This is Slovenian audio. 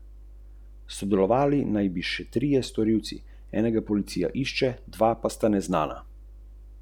Posamezniki si jo prislužijo z vztrajnimi in pomembnimi prizadevanji za zaščito okolja, pogosto za to tudi osebno veliko tvegajo.